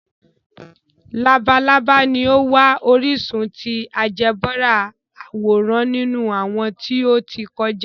Labalaba ni o wa orisun ti áljẹbrà aworan ninu awọn ti o ti kọja.